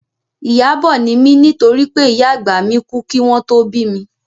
Ìyábọ̀ ni mí nítorí pé ìyá àgbà mi kú kí wọn tó bí mi